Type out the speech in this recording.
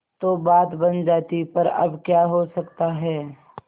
तो बात बन जाती पर अब क्या हो सकता है